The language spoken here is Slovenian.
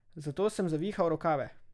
Zato sem zavihal rokave.